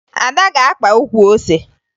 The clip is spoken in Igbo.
Ada ga-akpa ukwu ose